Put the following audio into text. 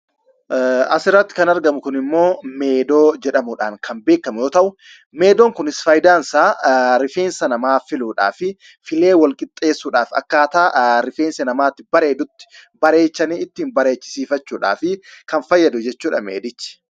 Asirratti kan argamu Kun immoo, ´meedoo´ jedhamuudhaan kan beekamu yoo ta'u, meedoon Kunis, isa rifeensa namaa filuudhaa fi filee walqixxeessuudhaaf, akkaataa rifeensi namaa itti bareedutti bareechanii ittiin bareechisiifachuudhaafii kan fayyadu jechuudha meedichi.